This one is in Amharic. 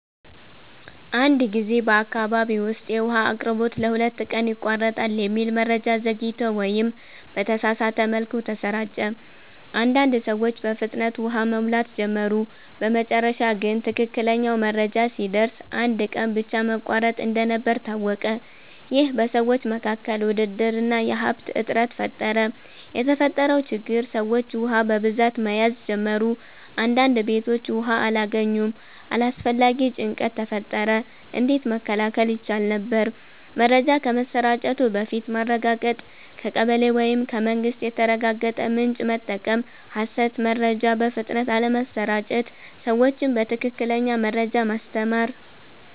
አንድ ጊዜ በአካባቢ ውስጥ “የውሃ አቅርቦት ለሁለት ቀን ይቋረጣል” የሚል መረጃ ዘግይቶ ወይም በተሳሳተ መልኩ ተሰራጨ። አንዳንድ ሰዎች በፍጥነት ውሃ መሙላት ጀመሩ በመጨረሻ ግን ትክክለኛው መረጃ ሲደርስ አንድ ቀን ብቻ መቋረጥ እንደነበር ታወቀ ይህ በሰዎች መካከል ውድድር እና የሀብት እጥረት ፈጠረ የተፈጠረው ችግር ሰዎች ውሃ በብዛት መያዝ ጀመሩ አንዳንድ ቤቶች ውሃ አላገኙም አላስፈላጊ ጭንቀት ተፈጠረ እንዴት መከላከል ይቻል ነበር? መረጃ ከመሰራጨቱ በፊት ማረጋገጥ ከቀበሌ ወይም ከመንግስት የተረጋገጠ ምንጭ መጠቀም ሐሰት መረጃ በፍጥነት አለመስራጨት ሰዎችን በትክክለኛ መረጃ ማስተማር